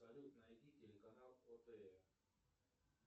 салют найди телеканал отр